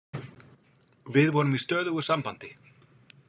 Við vorum í stöðugu sambandi.